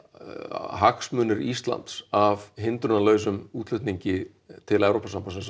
hagsmunir Íslands af hindrunarlausum útflutningi til Evrópusambandsins